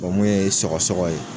mun ye sɔgɔ sɔgɔ ye